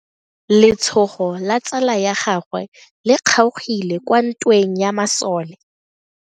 Letshogo la tsala ya gagwe le kgaogile kwa ntweng ya masole.